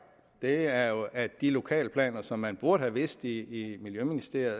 er jo at de lokalplaner som man burde have vidst om i miljøministeriet